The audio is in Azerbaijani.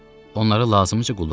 Onlara lazımıca qulluq eləyin.